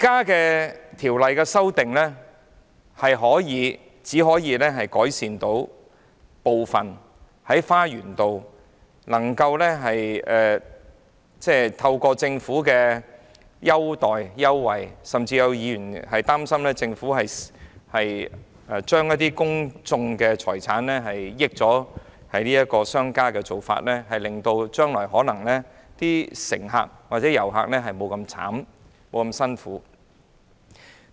現時的修訂建議只可改善花園道纜車站的部分問題，透過政府提供的優惠，甚至有議員擔心是批出公眾財產讓商家得益的做法，令乘客及遊客將來候車時或可不用這麼辛苦。